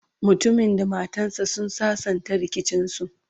mutumin da matan sa sun sassanta rikicin su